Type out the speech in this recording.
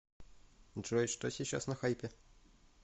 джой что сейчас на хайпе